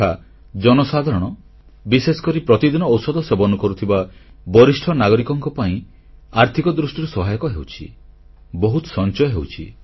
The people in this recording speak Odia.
ଏହା ଜନସାଧାରଣ ବିଶେଷକରି ପ୍ରତିଦିନ ଔଷଧ ସେବନ କରୁଥିବା ବରିଷ୍ଠ ନାଗରିକମାନଙ୍କ ଆର୍ଥିକ ଦୃଷ୍ଟିରୁ ସହାୟକ ହେଉଛି ବହୁତ ସଂଚୟ ହେଉଛି